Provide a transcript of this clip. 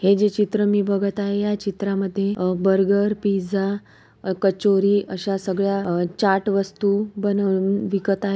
हे जे चित्र मी बघत आहे चित्रामध्ये आ बर्गर पिझ्झा कचोरी अश्या सगळ्या चाट वस्तु बनवुन विकत आहे.